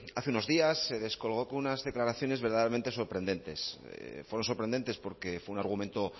hace unos días se descolgó con unas declaraciones verdaderamente sorprendentes fueron sorprendentes porque fue un argumento